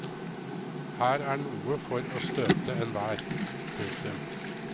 Her er noe for å støte enhver. punktum